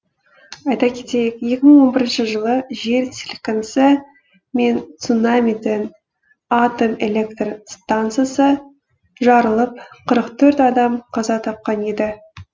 айта кетейік екі мың он бірінші жылы жер сілкінісі мен цунамиден атом электр стансасы жарылып қырық төрт адам қаза тапқан еді